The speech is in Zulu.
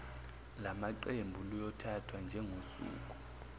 lamaqembu luyothathwa njengosuku